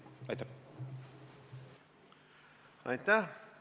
Aitäh!